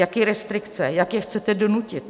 Jaké restrikce, jak je chcete donutit?